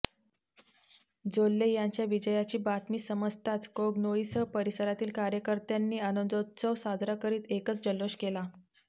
जोल्ले यांच्या विजयाची बातमी समजताच कोगनोळीसह परिसरातील कार्यकर्त्यांनी आनंदोत्सव साजरा करीत एकच जल्लोष केला